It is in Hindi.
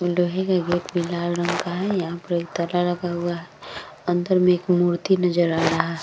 लोहे का गेट भी लाल रंग का है यहाँ पर एक ताला लगा हुआ है अंदर में एक मूर्ति नजर आ रहा है।